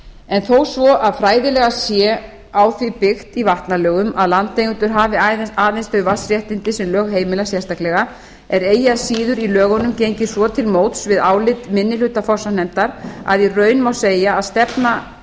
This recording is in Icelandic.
en þó svo fræðilega sé á því byggt í vatnalögum að landeigendur hafi aðeins þau vatnsréttindi sem lög heimila sérstaklega er eigi að síður í lögunum gengið svo til móts við álit minni hluta fossanefndar að í raun má segja að stefna